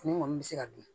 Fini kɔni bɛ se ka bin